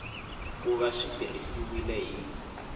ku va swi tirhisiwile hi